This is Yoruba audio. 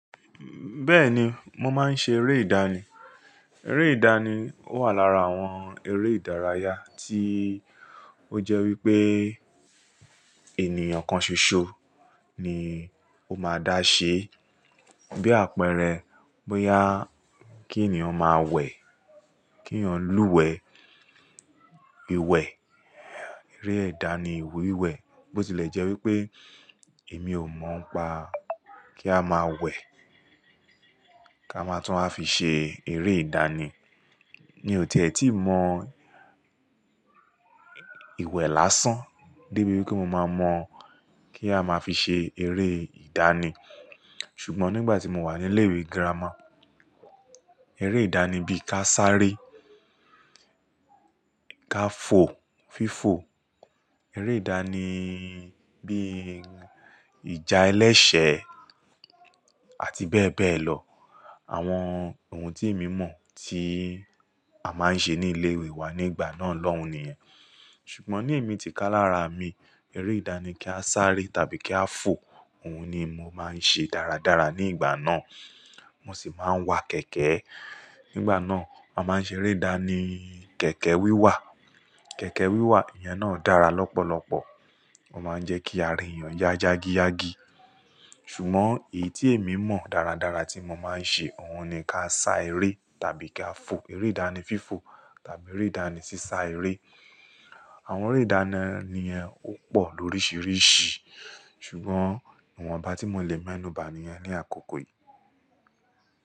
Bẹ́ẹ̀ni, mo máa ń ṣe eré ìdánì. Eré ìdánì wà lára àwọn eré ìdárayá tí ó jẹ́ wípé ènìyàn kan ṣoṣo ni ó máa dá ṣe. Bí àpẹẹrẹ, bóyá kí ènìyàn máa wẹ̀, kí ènìyàn lúwẹ̀ẹ́ ìwẹ̀, eré ìdánì wíwẹ̀. Bó ti lè jẹ́ wípé èmi ò mọ̀ pa kí a máa wẹ̀, kí a máa tún a fi ṣe eré ìdánì. Mí ò tiẹ́ tí mọ ìwẹ̀ lásán débi wípé mo máa mọ̀ kí a máa fi ṣe eré ìdánì. Ṣùgbọ́n nígbà tí mo wà ní ilé ìwé girama, eré ìdánì bí i ka sáré, ka fò, fífò, eré ìdánì bí i ìjà ẹlẹ́ṣẹ̀ àti bẹ́ẹ̀ bẹ́ẹ̀ lọ. Àwọn ohun tí èmi mọ̀ tí a máa ń ṣe ní ilé ìwé wa nígbà náà lọ́hùn níyẹn. Ṣùgbọ́n ní ẹ̀mí tìkálára mi, eré ìdánì kí a sáré tàbí kí a fò, òun ni mo máa ń ṣe dáradára nígbà náà. Wọ́n sì máa ń wa kẹ̀kẹ́. Nígbà náà, a máa ń ṣe eré ìdánì kẹ̀kẹ́ wíwà. Kẹ̀kẹ́ wíwà, ìyẹn náà dára lọ́pọ̀lọpọ̀. Ó máa ń jẹ́ kí a rí ènìyàn yá yágíyágí. Ṣùgbọ́n èyí tí èmi mọ̀ dáradára tí mo máa ń ṣe, òun ni ka sá eré tàbí ka fò. Eré ìdánì fífò tàbí eré ìdánì sísá eré. Àwọn eré ìdánì ni ẹ́ ó pọ̀ lóríṣiríṣi, ṣùgbọ́n ìwọnba tí mo le mú ẹnu ba mọ̀ ni ẹ́ ní àkókò yìí.